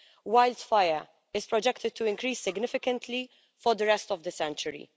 Wildfire is projected to increase significantly for the rest of the century.